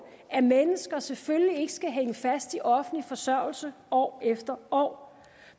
at mennesker selvfølgelig ikke skal hænge fast i offentlig forsørgelse år efter år